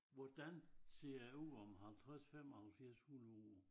Hvordan set det ud om 50 75 100 år?